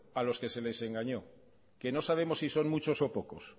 a los que se les engañó que no sabemos si son muchos o pocos